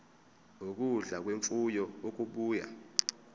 ukudla kwemfuyo okubuya